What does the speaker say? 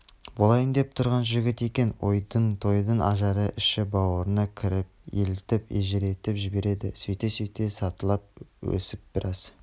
болайын деп тұрған жігіт екен ойын-тойдың ажары іші-бауырыңа кіріп елітіп елжіретіп жібереді сөйте-сөйте сатылап өсіп біраз